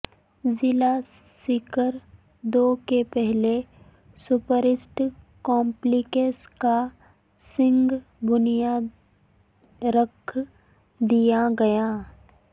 ضلع سکردو کے پہلے سپورٹس کمپلیکس کا سنگ بنیاد رکھ دیاگیا